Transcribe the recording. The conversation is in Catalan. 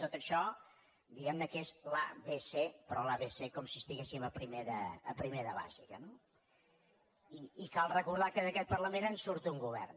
tot això diguem ne que és l’abecé però l’abecé com si estiguéssim a primer de bàsica no i cal recordar que d’aquest parlament en surt un govern